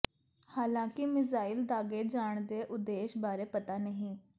ਹਾਲਾਂਕਿ ਮਿਜ਼ਾਈਲ ਦਾਗੇ ਜਾਣ ਦੇ ਉਦੇਸ਼ ਬਾਰੇ ਪਤਾ ਨਹੀਂ